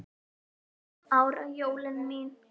Fimm ára jólin mín.